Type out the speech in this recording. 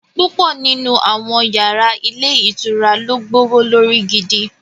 Púpọ̀ nínú àwọn yàrá ilé ìtura ló gbówó lórí gidi